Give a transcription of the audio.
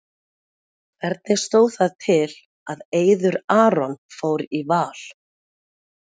Hvernig stóð það til að Eiður Aron fór í Val?